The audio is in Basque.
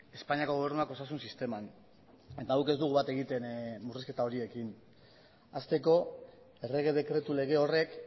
espainiako gobernuak osasun sisteman eta guk ez dugu bat egiten murrizketa horiekin hasteko errege dekretu lege horrek